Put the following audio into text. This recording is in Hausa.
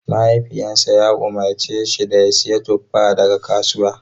Mahaifinsa ya umarce shi da ya sayi tuffa daga kasuwa.